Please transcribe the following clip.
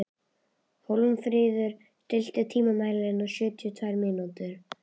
Hólmfríður, stilltu tímamælinn á sjötíu og tvær mínútur.